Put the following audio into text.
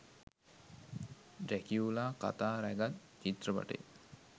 Dracula කතා රැගත් චිත්‍රපටය.